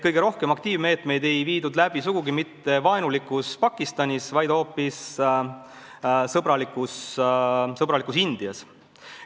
Kõige rohkem aktiivmeetmeid ei viidud läbi sugugi mitte vaenulikus Pakistanis, vaid hoopis sõbralikus Indias.